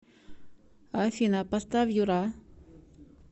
афина поставь юра